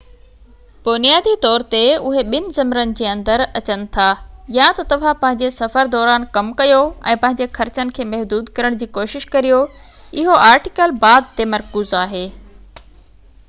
بنيادي طور تي اهي ٻن ذمرن جي اندر اچن ٿا يا ته توهان پنهنجي سفر دوران ڪم ڪيو ۽ پنهنجي خرچن کي محدود ڪرڻ جي ڪوشش ڪريو اهو آرٽيڪل بعد تي مرڪوز آهي